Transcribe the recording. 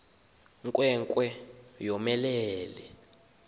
nkwe nkwe yomelele